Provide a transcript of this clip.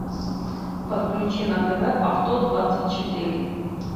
подключи на тв авто двадцать четыре